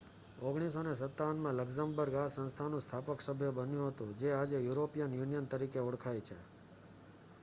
1957માં Luxembourg આ સંસ્થાનું સ્થાપક સભ્ય બન્યું હતું જે આજે યુરોપિયન યુનિયન તરીકે ઓળખાય છે